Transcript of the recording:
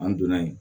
An donna yen